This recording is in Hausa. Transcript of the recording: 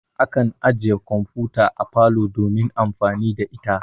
Akan ajiye kamfuta a parlor domin amfani da ita.